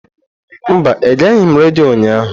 Mba, egeghị m redio ụnyahụ.